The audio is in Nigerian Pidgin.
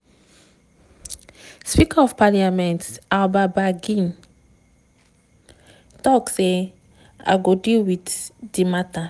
speaker of parliament alban bagbin tok say im go deal wit di mata.